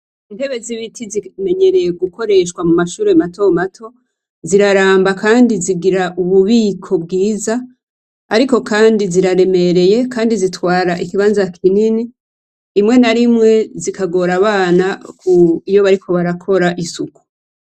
Intebe z'ibiti zimenyerewe gukoreshwa mumashure mato mato ziraramba kandi zikoreshwa ububiko bwiza ariko kandi ziraremereye kandi zitwara ikibanza kinini rimwe na rimwe zikagora abana iyo bariko barakora isuku.